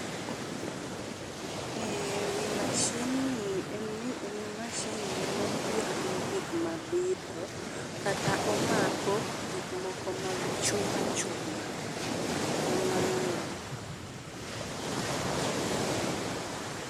Ee, ewi mashin ni en ni en mashin mane piago gik mabitho, kata omako gik moko mag chuma chuma, kamae.